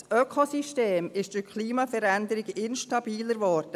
Das Ökosystem ist durch die Klimaveränderung instabiler geworden.